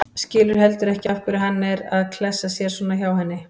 Skilur heldur ekki af hverju hann er að klessa sér svona hjá henni.